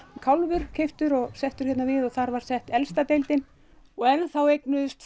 kálfur keyptur og settur hérna við og þar var sett elsta deildin og enn þá eignuðust